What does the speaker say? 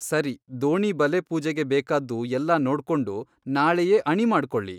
ಸರಿ ದೋಣಿ ಬಲೆ ಪೂಜೆಗೆ ಬೇಕಾದ್ದು ಎಲ್ಲಾ ನೋಡ್ಕೊಂಡು ನಾಳೆಯೇ ಅಣಿ ಮಾಡ್ಕೊಳ್ಳಿ.